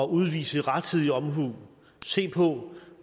udvise rettidig omhu se på